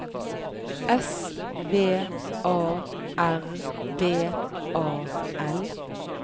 S V A R D A L